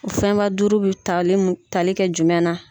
O fɛnba duuru bɛ tali mun tali kɛ jumɛn na.